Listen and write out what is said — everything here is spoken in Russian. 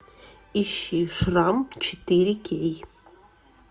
ищи шрам четыре кей